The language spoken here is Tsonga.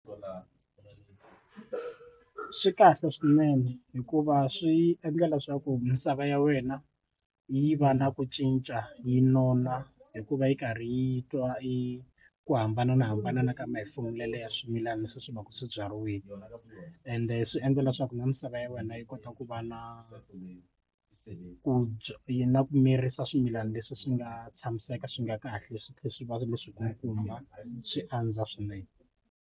Swi kahle swinene hikuva swi endla leswaku misava ya wena yi va na ku cinca yi nona hikuva yi karhi yi twa i ku hambana na hambana na ka ya swimilana leswi swi va ka swibyariwile ende swi endla leswaku na misava ya wena yi kota ku va na ku bya yi na ku mirisa swimilana leswi swi nga tshamiseka swi nga kahle tlhela swi va leswi ku kuma swi andza swinene.